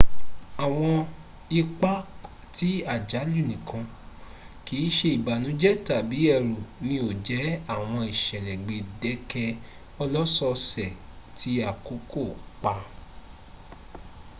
awọn ipa ti ajalu nikan kiise ibanujẹ tabi ẹru ni o jẹ awọn isẹlẹ gbẹdẹkẹ ọlọsọọsẹ ti akoko pa